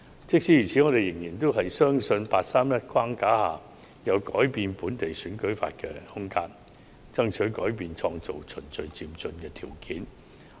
即使如此，我們仍然相信在"八三一框架"下有改變本地選舉法的空間，爭取改變，創造"循序漸進"的條件。